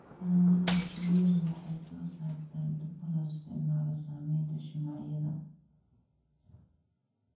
Xannaanada shinnidu waxay soo saartaa dhuka loo isticmaalo samaynta shumacyada.